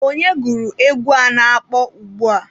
Onye gụrụ egwu a na-akpọ ugbua?